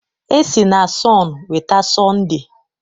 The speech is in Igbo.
E si na sọn weta Sọnde